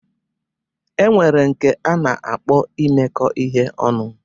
E nwere nke a na-akpọ imekọ ihe ọnụ